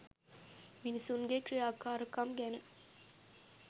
මිනිසුන්ගේ ක්‍රියාකාරකම් ගැන